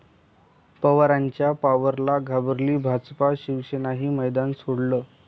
पवारांच्या 'पॉवर'ला घाबरली भाजप, शिवसेनेनंही मैदान सोडलं!